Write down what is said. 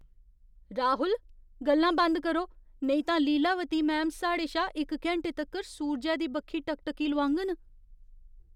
राहुल! गल्लां बंद करो, नेईं तां लीलावती मैम साढ़े शा इक घैंटे तक्कर सूरजै दी बक्खी टकटकी लगोआङन।